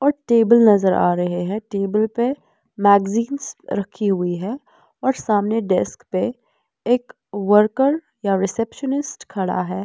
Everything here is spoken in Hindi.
और टेबल नज़र आ रहे हैं टेबल पे मैगजींस रखी हुई है और सामने डेस्क पे एक वर्कर या रिसेप्शनिस्ट खड़ा है।